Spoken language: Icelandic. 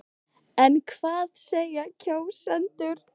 En hvað segja kjósendur?